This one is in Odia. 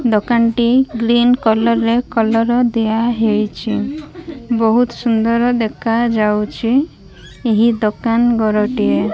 ଦୋକାନ ଟି ଗ୍ରୀନ କଲର ରେ କଲର ଦିଆ ହେଇଚି ବହୁତ ସୁନ୍ଦର ଦେଖା ଯାଉଛି ଏହି ଦୋକାନ ଘର ଟିଏ।